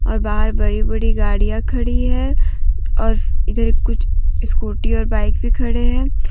और बाहर बड़ी बड़ी गाड़ियां खड़ी है और इधर कुछ स्कूटी और बाइक भी खड़े हैं।